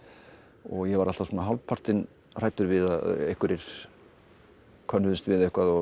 ég var alltaf hálfpartinn hræddur við að einhverjir könnuðust við eitthvað sem